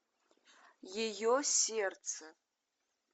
ее сердце